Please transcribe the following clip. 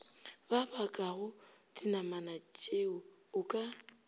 ba bakago dinamanatšeo o ka